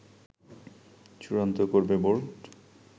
চূড়ান্ত করবে বোর্ড